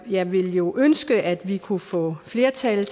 jeg ville jo ønske at vi kunne få flertal